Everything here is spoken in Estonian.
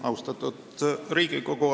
Austatud Riigikogu!